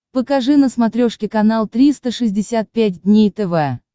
покажи на смотрешке канал триста шестьдесят пять дней тв